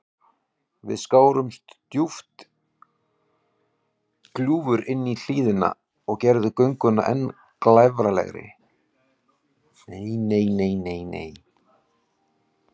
Víða skárust djúp gljúfur inní hlíðina og gerðu gönguna enn glæfralegri.